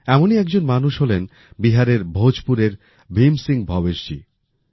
এমনই একজন মানুষ হলেন বিহারের ভোজ পুরের ভীম সিং ভবেশ জি